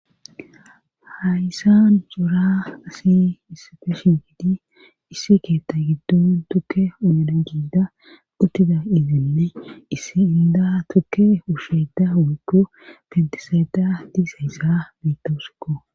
Hayssan jora asi isfeeshin gidi issi keetta giddon tukke oadan gida uttida idenne issi inda tukke usheeda woykko pentisaeta diisayssa beittooskko